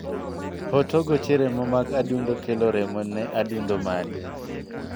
Hotogoche remo mag adundo kelo remo ne adundo mari.